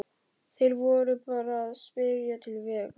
Þeir voru bara að spyrja til vegar.